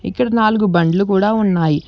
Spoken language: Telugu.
ఇక్కడ నాలుగు బండ్లు కూడా ఉన్నాయి.